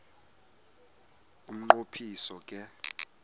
umnqo phiso ke